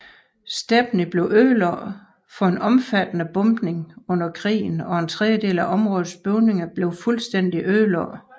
Stepney blev udsat for en omfattende bombning under krigen og en tredjedel af områdets bygninger blev fuldstændig ødelagt